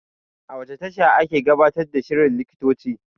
A wace tasha ake gabatar da shirin likitoci?